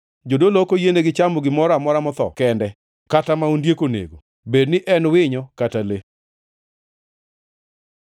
Jodolo ok oyienegi chamo gimoro amora motho kende kata ma ondiek onego, bed ni en winyo kata le.